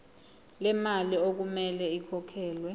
lemali okumele ikhokhelwe